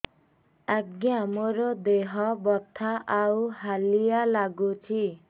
ଆଜ୍ଞା ମୋର ଦେହ ବଥା ଆଉ ହାଲିଆ ଲାଗୁଚି